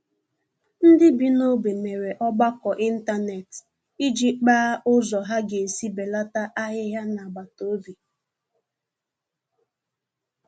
Ndị bi n'ogbe mere ọgbakọ ịntanet iji kpaa ụzọ ha ga-esi belata ahịhịa n'agbataobi